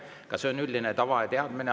Ka see on üldine tava ja teadmine.